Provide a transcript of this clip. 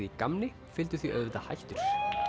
í gamni fylgdu því auðvitað hættur